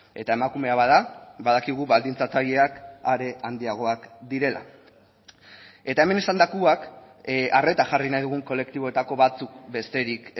eta emakumea bada badakigu baldintzatzaileak are handiagoak direla eta hemen esandakoak arreta jarri nahi dugun kolektiboetako batzuk besterik